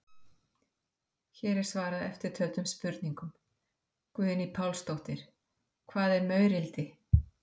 Hér er svarað eftirtöldum spurningum: Guðný Pálsdóttir: Hvað er maurildi?